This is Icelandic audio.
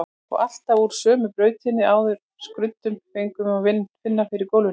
Og alltaf úr sömu bókinni, aðrar skruddur fengu að finna fyrir gólfinu.